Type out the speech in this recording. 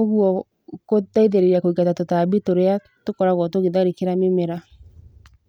ũgwo gũteithĩrĩria kwĩingata tũtambi tũrĩa tũkoragwo tũgĩtharĩkĩra mĩmera.